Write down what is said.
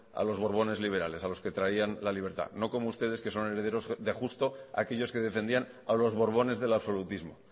a los borbones liberales a los que traían la libertad no como ustedes que son herederos de justo aquellos que defendían a los borbones del absolutismo